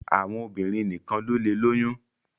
Àwọn obìrin nìkan ló lẹ lóyún.